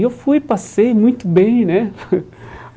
E eu fui, passei muito bem, né?